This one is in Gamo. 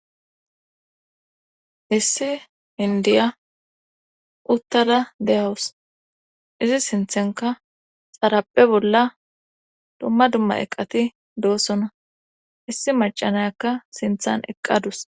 issi indiya uttala deyawus izi sinthenka xarappe bolla dumma dumma eqqati doossona issi macanayakka sinthan eqqadus